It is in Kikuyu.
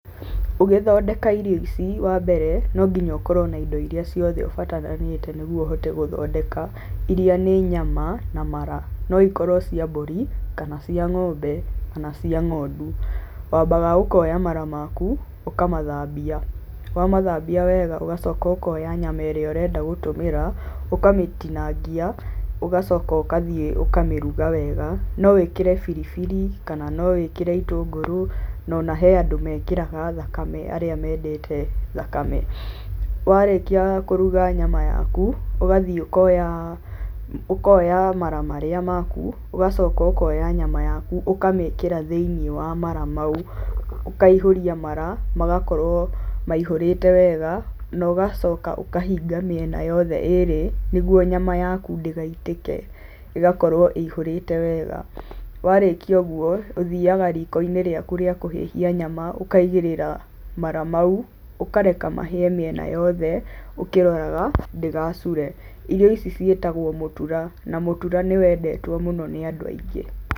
Ũgĩthondeka irio ici, wambere, no nginya ũkorwo na indo iria ciothe ũbataranĩte nĩguo ũhote gũthondeka. Iria nĩ nyama na mara. No ĩkorwo cia mbũri, cia ng'ombe, kana cia ng'ondu. Wambaga ũkoya mara matu, ũkamathambia, wamathambia wega ũgacoka ũkoya nyama ĩrĩa ũrenda gũtũmĩra, ũkamĩtinangia ũgacoka ũgathiĩ ũkamĩruga wega. No wĩkĩre biribiri, na no wĩkĩre itũngũrũ, ona hena andũ mekĩraga thakame arĩa mendete thakame. Warĩkia kũruga thama waku, ũgathiĩ ũkoya mara marĩa maku, ũgacoka ũkoya nyama yaku, ũkamĩkĩra thĩinĩ wa mara mau, ũkaihũria mara, magakorwo maihũrĩte wega naũgacoka ũkahinga mĩena yothe ĩrĩ, nĩguo nyama yaku ndĩgaitĩke, ĩgakorwo ĩihũrĩte wega. Warĩkia ũguo, ũthiaga riko-inĩ rĩaku rĩa kũhĩhia nyama, ũkaigĩrĩra mara mau, ũkareka mahĩe mĩena yothe ũkĩroraga ndĩgacure. Irio ici ciĩtagwo mũtura, na mũtura nĩ wendetwo mũno nĩ andũ aingĩ.